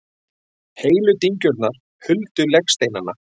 Heilu dyngjurnar huldu legsteinana.